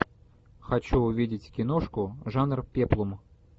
хочу увидеть киношку жанр пеплум